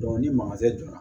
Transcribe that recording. ni joona